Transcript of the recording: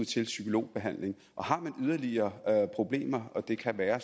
til psykologbehandling har man yderligere problemer det kan være